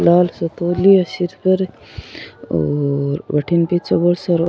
लाल सो तोलियो है सिर पर और बठीने पीछे बहुत साराे --